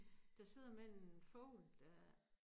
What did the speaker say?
Der sidder med en fugl der